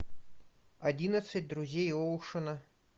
одиннадцать друзей оушена